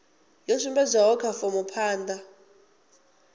yo sumbedzwaho kha fomo phanda